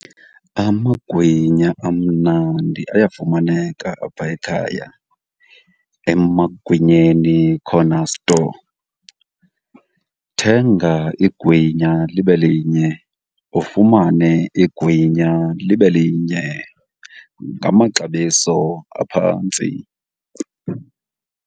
Amagwinya amnandi ayafumaneka apha ekhaya, eMagwinyeni Corner Store. Thenga igwinya libe linye ufumane ingwinya libe linye ngamaxabiso aphantsi.